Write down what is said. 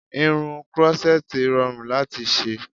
Irun krọ́ṣẹ́tì rọrùn láti ṣe